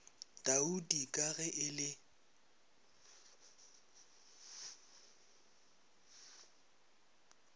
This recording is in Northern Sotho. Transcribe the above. taudi ka ge e le